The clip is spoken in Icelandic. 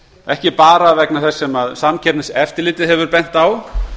ekki bara vegna þess sem samkeppniseftirlitið hefur bent á